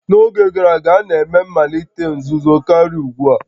N'oge gara aga, a na-eme mmalite nzuzo karịa ugbu a